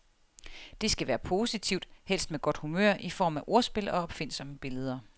Det skal være positivt, helst med godt humør i form af ordspil og opfindsomme billeder.